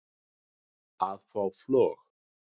að fá flog